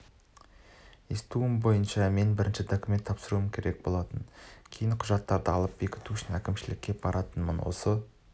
естуім бойынша мен бірінші документ тапсыруым керек болатын кейін құжаттарды алып бекіту үшін әкімшілікке баратынмын осы